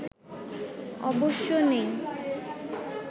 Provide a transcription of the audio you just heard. অবশ্য নেই